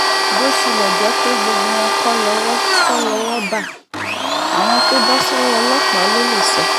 bó tilẹ̀ jẹ́ pé gbogbo wọn kọ́ lowó kọ́ lowó ń bá àwọn tó bọ́ sọ́wọ́ ọlọ́pàá ló lè sọ